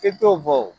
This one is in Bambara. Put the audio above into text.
I t'o bɔ o